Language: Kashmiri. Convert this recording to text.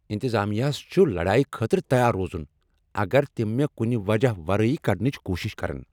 انتظامِیاہس چُھ لڑایی خٲطرٕ تیار روزن اگر تِم مےٚ کُنہ وجہ ورٲیی کڑنٕچ کوشش کرن ۔